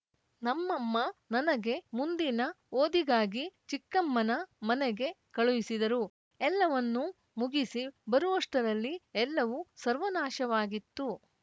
ನಮ್ಮಮ್ಮ ನನಗೆ ಮುಂದಿನ ಓದಿಗಾಗಿ ಚಿಕ್ಕಮ್ಮನ ಮನೆಗೆ ಕಳುಹಿಸಿದರು ಎಲ್ಲವನ್ನೂ ಮುಗಿಸಿ ಬರುವಷ್ಟರಲ್ಲಿ ಎಲ್ಲವೂ ಸರ್ವನಾಶವಾಗಿತ್ತು